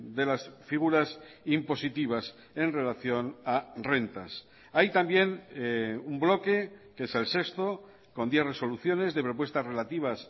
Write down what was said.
de las figuras impositivas en relación a rentas hay también un bloque que es el sexto con diez resoluciones de propuestas relativas